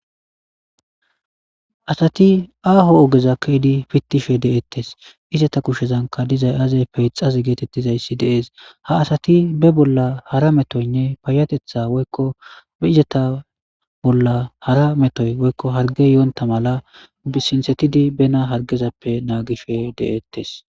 asati aaho ogeza keydi pittishe de7ettes izata kushshezanka dizay aazey peixaz geetettizayssi dees ha asati be bolla hara metoynne payatetha woykko be izata bolla hara metoy woykko harge yoonta mala sinsetidi bena hargezappe naagishe de7ettes